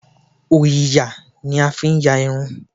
Òyìyà ní a fi ń yà irun